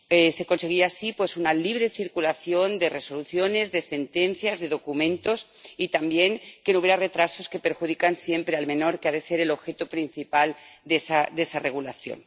Se conseguía así, pues, una libre circulación de resoluciones, de sentencias, de documentos, y también que no hubiera retrasos que perjudican siempre al menor, que ha de ser el objeto principal de esa regulación.